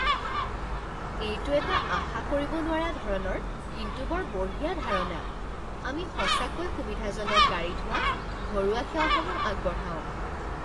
এইটো এটা আশা কৰিব নোৱাৰা ধৰণৰ কিন্তু বৰ বঢ়িয়া ধাৰণা! আমি সঁচাকৈ সুবিধাজনক গাড়ী ধোৱা ঘৰুৱা সেৱাসমূহ আগবঢ়াওঁ।